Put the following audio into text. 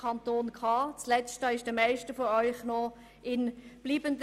Das letzte ist den meisten von Ihnen sicher noch in Erinnerung geblieben: